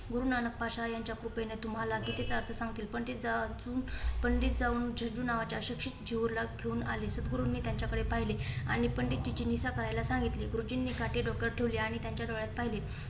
गुरु नानक पाशा यांच्या कृपेने तुम्हाला चुकीचा अर्थ सांगतील. पण ते जा अजून पंडित जा जाऊ पंडित जीजू नावाच्या शिक्षित जेहूरला घेऊन आले. सद्गुरूंनी यांच्याकडे पाहिले आणि पंडितजिची निसा करायला सांगितली. गुरुजींनी काठी डोक्यावर ठेवली आणि त्यांच्या डोळ्यात पाहिले.